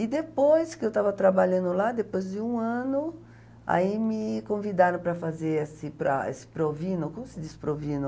E depois que eu estava trabalhando lá, depois de um ano, aí me convidaram para fazer esse para essa provino, como se diz provino?